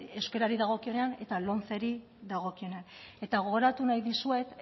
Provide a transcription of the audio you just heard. euskarari dagokionean eta lomceri dagokionean eta gogoratu nahi dizuet